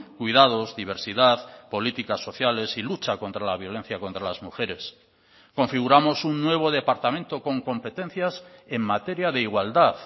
cuidados diversidad políticas sociales y lucha contra la violencia contra las mujeres configuramos un nuevo departamento con competencias en materia de igualdad